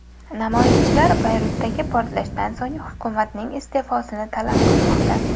Namoyishchilar Bayrutdagi portlashdan so‘ng hukumatning iste’fosini talab qilmoqda.